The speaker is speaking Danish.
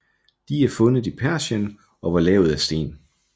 De er fundet i Persien og var lavet af sten